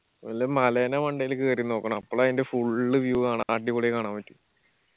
വല്ല മലയെടെ മണ്ടേൽ കേറി നിന്ന് നോക്കണോ അപ്പോളാ അയിന്റെ full view കാണ അടിപൊളിയായി കാണാൻ പറ്റും.